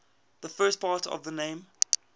the first part of the name